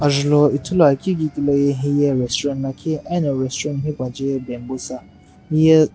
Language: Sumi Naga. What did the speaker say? ajulhou Ithuluakeu kiqi loye hiye restaurant lakhi eno restaurant hipa je ye bambusa hiye --